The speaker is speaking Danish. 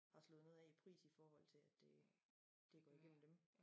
Har slået noget af i pris i forhold til at det det går igennem dem